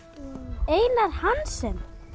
Einar Hansen